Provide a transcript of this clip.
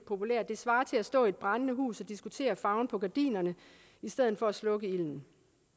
at det svarer til at stå i et brændende hus og diskutere farven på gardinerne i stedet for at slukke ilden